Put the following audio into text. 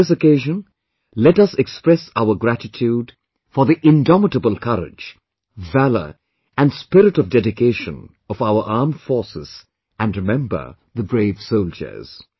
On this occasion, let us express our gratitude for the indomitable courage, valour and spirit of dedication of our Armed Forces and remember the brave soldiers